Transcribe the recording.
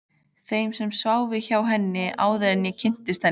Þeim sem sváfu hjá henni, áður en ég kynntist henni.